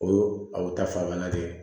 O abu ta fan na dɛ